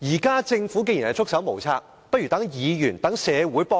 既然政府現在"束手無策"，不如讓議員和社會協助政府。